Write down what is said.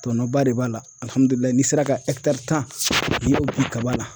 Tɔnɔnba de b'a la n'i sera ka tan kaba la